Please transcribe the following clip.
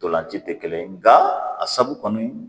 Ntolan ci tɛ kelen ye nka a sabu kɔni